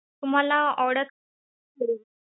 तुम्हाला order